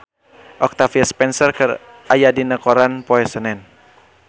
Octavia Spencer aya dina koran poe Senen